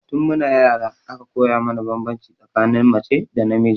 Tun mu na yara aka koya mana banbanci tsakanin mace da namiji